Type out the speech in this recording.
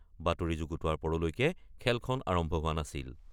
বাতৰি যুগুতোৱাৰ পৰলৈকে খেলখন আৰম্ভ হোৱা নাছিল।